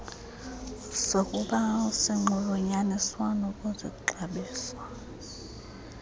sokubi sinxulunyaniswa nokuzixabisa